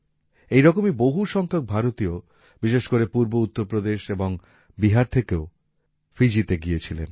এইরকমই বহু সংখ্যক ভারতীয় বিশেষ করে পূর্ব উত্তর প্রদেশ এবং বিহার থেকে ফিজিতেও গিয়েছিলেন